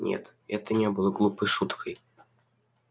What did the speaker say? нет это не было глупой шуткой